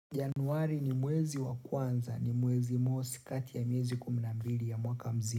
Januari ni mwezi wa kwanza ni mwezi mosi kati ya miezi kumi na mbili ya mwaka mzima.